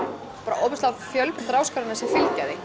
ofboðslega fjölbreyttar áskoranir sem fylgja því